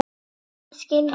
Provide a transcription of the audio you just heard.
Það skil ég núna.